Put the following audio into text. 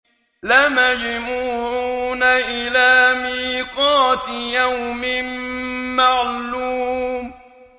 لَمَجْمُوعُونَ إِلَىٰ مِيقَاتِ يَوْمٍ مَّعْلُومٍ